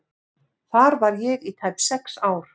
Þar var ég í tæp sex ár.